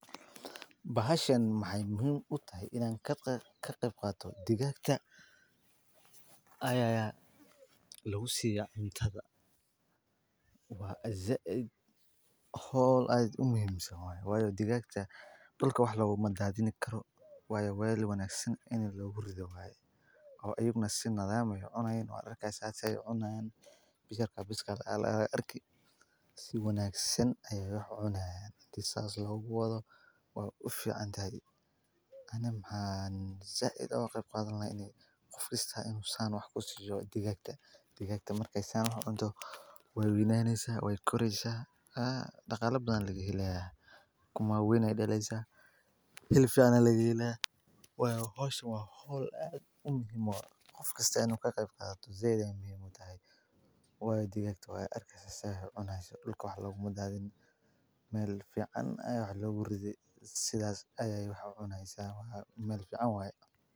Bahashaan waxay muxiim utahay inan lagebgato digagta aya lagusiyaa cuntada, wa zaid howl aad umuximsan waye, wayo digagta dulka wax logumadadiyo, wa wel wanagsan ini logurido waye oo iyagana si nadaam leh ucunayaan aad arki, si wanagsan ayay wax ucuni hayan, hadhi sas loguwado way uficanyaxay ani zaid ayan ogagebgadani lahay, gofkasta inu san wax kusiyo digagta markay san ucunto way weynaneysa way koreysa daqale badan aya lagahelayaa, ukuma wawen ayay daleysa hilib fican aya lagahelaya wayo howshaan wa howl aad gofkasta inu kagebgato zaid ayay muxiim utahay wayo digagtu way arlaysa waxay cuneyso dulka wax logumadadiyo mel fucan aya wax loguridi sidas ayay wax ucuneysa, marka wal fican waye.